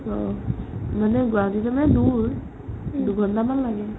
অ, মানে গুৱাহাটীতে মানে দূৰ দুঘন্টামান লাগে ।